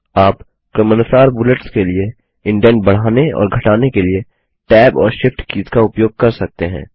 आप क्रमानुसार बुलेट्स के लिए इंडेंट बढ़ाने और घटाने के लिए टैब और शिफ्ट कीज का उपयोग कर सकते हैं